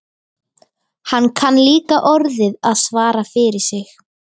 Hann kann líka orðið að svara fyrir sig.